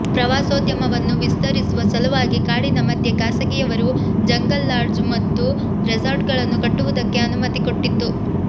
ಪ್ರವಾಸೋದ್ಯಮವನ್ನು ವಿಸ್ತರಿಸುವ ಸಲುವಾಗಿ ಕಾಡಿನ ಮಧ್ಯೆ ಖಾಸಗಿಯವರಿಗೂ ಜಂಗಲ್ ಲಾಡ್ಜು ಮತ್ತು ರೆಸಾರ್ಟುಗಳನ್ನು ಕಟ್ಟುವುದಕ್ಕೆ ಅನುಮತಿ ಕೊಟ್ಟಿತ್ತು